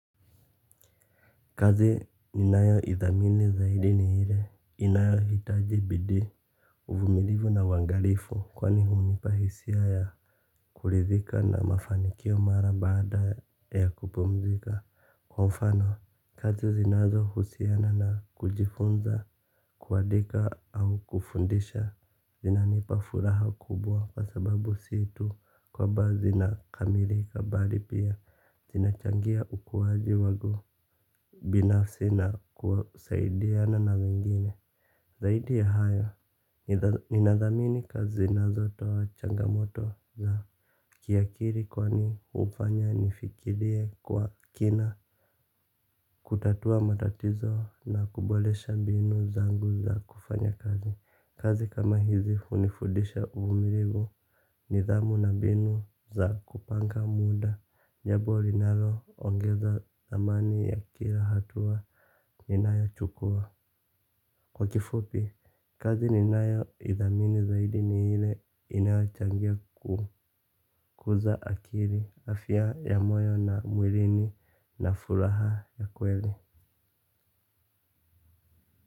Kazi ninayo idhamini zaidi ni ile inayohitaji bidii uvumilivu na uangalifu. Kwani hunipa hisia ya kuridhika na mafanikio mara baada ya kupumzika. Kwa mfano kazi zinazohusiana na kujifunza kuadika au kufundisha. Zinanipa furaha kubwa kwa sababu si tu kwamba zinakamilika bali pia zinachangia ukuaji wangu binafsi na kusaidiana na wengine. Zaidi ya hayo ninadhamini kazi zinazotoa changamoto za kiakili kwani hufanya nifikirie kwa kina. Kutatua matatizo na kuboresha mbinu zangu za kufanya kazi. Kazi kama hizi hunifudisha uvumulivu nidhamu na mbinu za kupanga muda jambo linaloongeza thamani ya kila hatua ninayochukua. Kwa kifupi, kazi ninayo idhamini zaidi ni ile inayochangia kukuza akili afya ya moyo na mwilini na furaha ya kweli.